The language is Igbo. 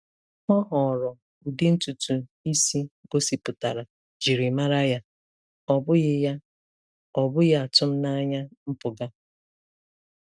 Ọ họọrọ ụdị ntutu isi gosipụtara njirimara ya, ọ bụghị ya, ọ bụghị atụmanya mpụga.